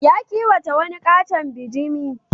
Ya kiwata wani ƙaton bajimi.